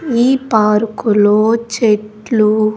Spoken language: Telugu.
ఈ పార్కు లో చెట్లు.